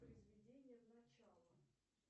произведение в начало